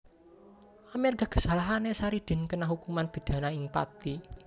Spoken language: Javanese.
Amerga kesalahané Saridin kena hukuman pidana ing Pathi